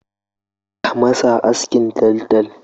Ka masa askin taltal!